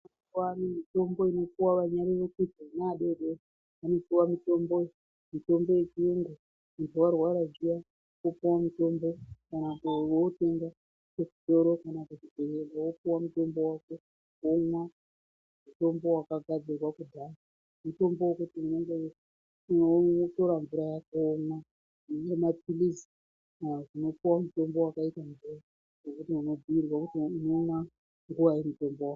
Kwane mitombo inopuwa vana vadodori vanopuwa mutombo mitombo ye chiyungu muntu arwara zviya opuwa mutombo kana wotenga ku zvitoro kana kuti unogona kupuwa mutombo wako womwa mutombo waka gadzirwa kudhaya mitombo yekuti unenge weyii wotara mvura yako womwa inenge mapilizi unopuwa mutombo wakaite mvura wekuti uno bhuyirwa unomwa nguvai mutombo wacho.